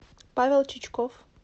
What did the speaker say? павел чичков